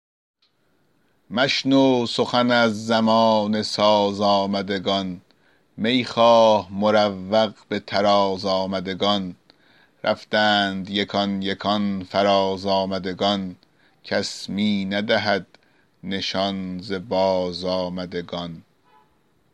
مشنو سخن از زمانه ساز آمدگان می خواه مروق به طراز آمدگان رفتند یکان یکان فراز آمدگان کس می ندهد نشان ز بازآمدگان